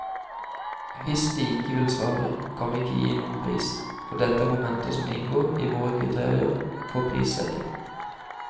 Hvis de ikke vil svare, kan vi ikke gi noen pris, for dette er momenter som inngår i våre kriterier for prissetting.